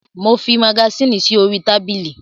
Mo fi magasínì sí orí tábìlì.